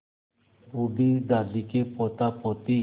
बूढ़ी दादी के पोतापोती